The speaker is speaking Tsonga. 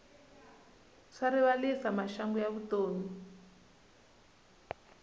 swa rivalisa maxangu ya vutomi